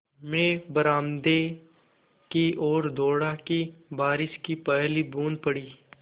मैं बरामदे की ओर दौड़ा कि बारिश की पहली बूँद पड़ी